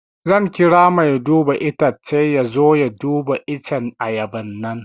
Zan kira mai duba itacce ya zo ya duba iccen ayaban nan